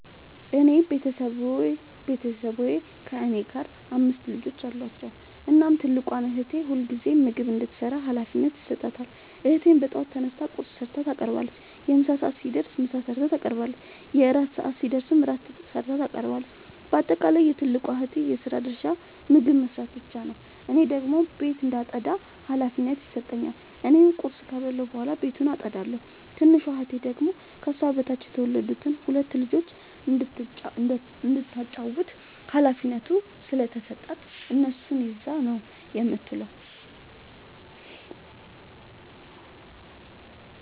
የኔ ቤተሠቦይ ከእኔ ጋር አምስት ልጆች አሏቸዉ። እናም ትልቋን እህቴ ሁልጊዜም ምግብ እንድትሰራ ሀላፊነት ይሠጣታል። እህቴም በጠዋት ተነስታ ቁርስ ሠርታ ታቀርባለች። የምሣ ሰዓት ሲደርስም ምሳ ሠርታ ታቀርባለች። የእራት ሰዓት ሲደርስም ራት ሠርታ ታቀርባለች። ባጠቃለይ የትልቋ እህቴ የስራ ድርሻ ምግብ መስራት ብቻ ነዉ። እኔን ደግሞ ቤት እንዳጠዳ ሀላፊነት ይሠጠኛል። እኔም ቁርስ ከበላሁ በኃላ ቤቱን አጠዳለሁ። ትንሿ እህቴ ደግሞ ከሷ በታች የተወለዱትን ሁለት ልጆይ እንዳታጫዉታቸዉ ሀላፊነት ስለተሠጣት እነሱን ይዛ ነዉ የምትዉለዉ።